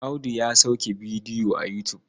Audu ya sauke bidiyo a Yutub.